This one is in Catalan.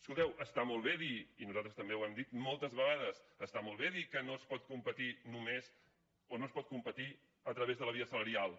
escolteu està molt bé dir i nosaltres també ho hem dit moltes vegades que no es pot competir a través de la via salarial